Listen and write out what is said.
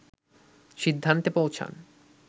সিদ্ধান্তে পৌঁছান